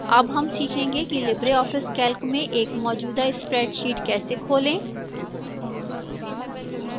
अब हम सीखेंगे कि libreoffice calc में एक मौजूदा spreadsheet कैसे खोलें